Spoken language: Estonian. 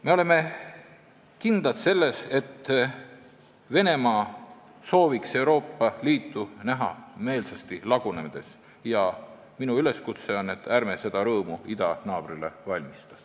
Me oleme kindlad, et Venemaa sooviks Euroopa Liitu meelsasti näha lagunemas ja minu üleskutse on, et ärme seda rõõmu idanaabrile valmistame.